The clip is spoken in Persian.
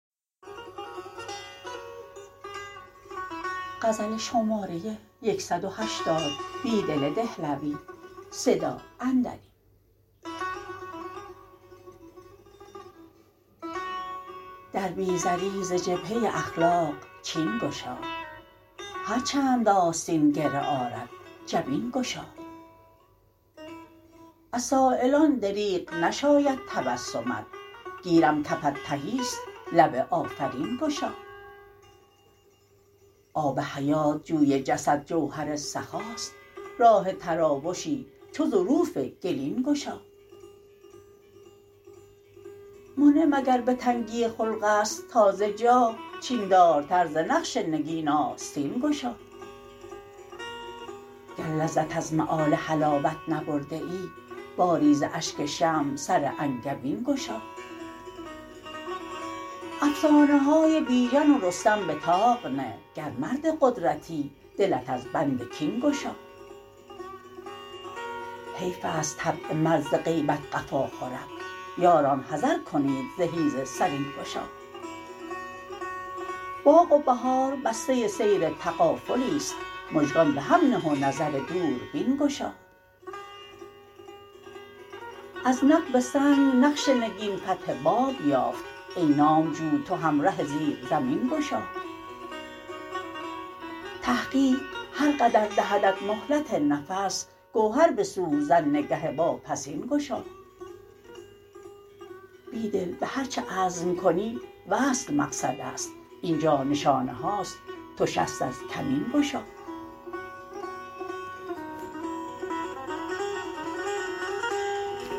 در بی زری ز جبهه اخلاق چین گشا هرچند آستین گره آرد جبین گشا از سایلان دریغ نشاید تبسمت گیرم کفت تهی ست لب آفرین گشا آب حیات جوی جسد جوهر سخاست راه تراوشی چو ظروف گلین گشا منعم اگر به تنگی خلق است ناز جاه چین دارتر ز نقش نگین آستین گشا گر لذت از مآل حلاوت نبرده ای باری ز اشک شمع سر انگبین گشا افسانه های بیژن و رستم به طاق نه گر مرد قدرتی دلت از بند کین گشا حیف است طبع مرد ز غیبت قفا خورد یاران حذر کنید ز حیز سرین گشا باغ و بهار بسته سیر تغافلی ست مژگان به هم نه و نظر دوربین گشا از نقب سنگ نقش نگین فتح باب یافت ای نامجو تو هم ره زیر زمین گشا تحقیق هر قدر دهدت مهلت نفس گوهر به سوزن نگه واپسین گشا بیدل به هرچه عزم کنی وصل مقصد است اینجا نشانه هاست تو شست از کمین گشا